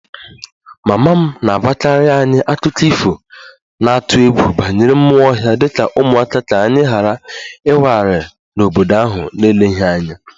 Mama m na-agwakarị anyị akụkọ ifo na-atụ egwu banyere mmụọ ọhịa dị ka ụmụaka ka anyị ghara ịwagharị n'obodo ahụ n'eleghị anya